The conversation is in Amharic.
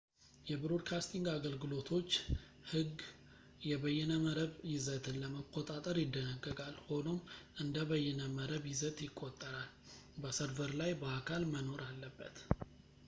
የብሮድካስቲንግ አገልግሎቶች ሕግ የበይነመረብ ይዘትን ለመቆጣጠር ይደነግጋል ፣ ሆኖም እንደ በይነመረብ ይዘት ይቆጠራል ፣ በሰርቨር ላይ በአካል መኖር አለበት